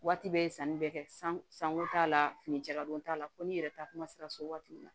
Waati bɛɛ ye sanni bɛ kɛ sanko t'a la fini jala don t'a la ko n'i yɛrɛ ta kuma sera so waati min na